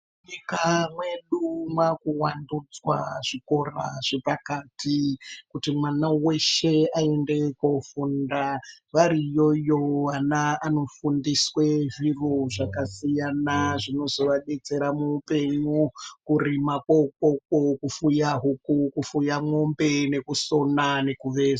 Nyika yedu yakuwandudzwa zvikora zvepakati kuti mwana weshe aende kofunda vari yoyo mwana anofundiswa zviro zvakasiyana zvinova detsera muhupenyu kurima koikoko kufuya huku nekusona.